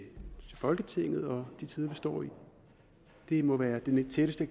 folketinget og de tider vi står i det må være det tætteste